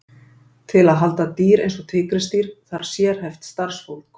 Til að halda dýr eins og tígrisdýr þarf sérhæft starfsfólk.